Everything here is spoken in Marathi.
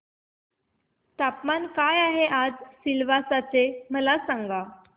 तापमान काय आहे आज सिलवासा चे मला सांगा